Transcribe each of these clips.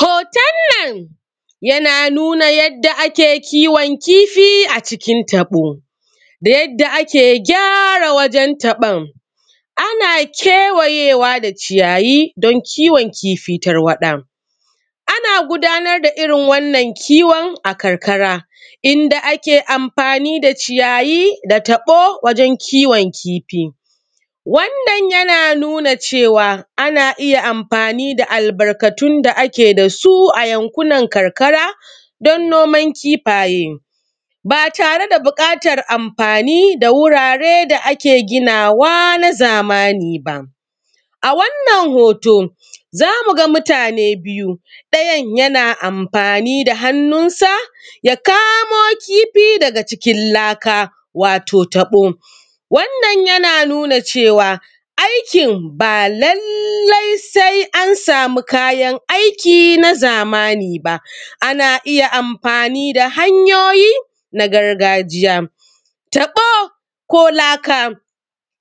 Hoton nan ya nuna yadda ake kiwon kifi a cikin taɓo, da yanda ake gyara wajan taɓon. Ana kewayewa da ciyayi don kiwon kifi tarwaɗa, ana gudanar da irin wannan kiwon a karkara, inda ake amfani da ciyayi da taɓo wajan kiwon kifi. Wannan ya nuna cewa ana iya amfani da albarkatun da ake da su a yankunan karkara don noman kifaye ba tare da buƙatar amfani da wurare da ake ginawa na zamani ba. A wannan hoto za mu ga mutane biyu ɗayan yana amfani da hannun sa ya kamo kifi daga ckin laka, wato taɓo wannan yana nuna cewa aikin ba lallai sai an samu kayan aiki na zamani ba, ana iya amfani da hanyoyi na gargajiya. Tabo ko laka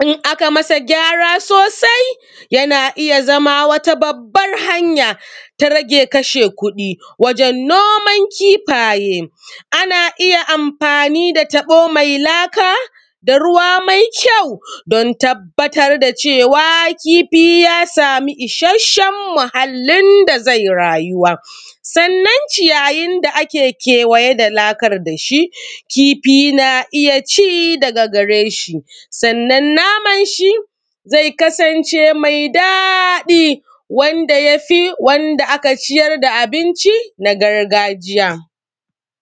in aka masa gyara sosai yana iya zama wata babban hanya ta rage kashe kuɗi wajen noman kifaye. Ana iya amfani da taɓo mai laka da ruwa mai kyau don tabbatar da cewa kifi ya samu isheshen muhallin da zai rayuwa, sannan ciyayin da ake kewaye da lakan da shi kifi na iya ci daga gare shi, sanan naman shi zai kasance mai daɗi wanda yafi wanda aka ciyar da abinci na gargajiya.